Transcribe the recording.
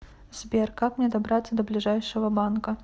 сбер как мне добраться до ближайшего банка